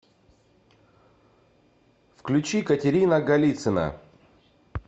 включи катерина голицына